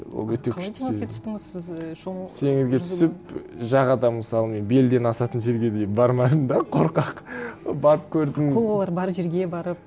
ол өте күшті теңізге түстіңіз сіз і теңізге түсіп жағада мысалы мен белден асатын жерге дейін бармадым да қорқақ барып көрдім акулалар бар жерге барып